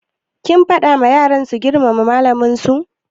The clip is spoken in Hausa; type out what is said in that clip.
Kin faɗa wa yaran su girmama malaman su?